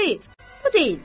Xeyr, bu deyildi.